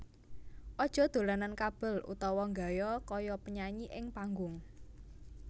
Aja dolanan kabel utawa nggaya kaya penyanyi ing panggung